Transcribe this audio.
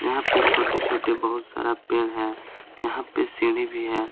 यहां पे छोटे-छोटे बहुत सारा पेड़ है यहां पे सीढ़ी भी है।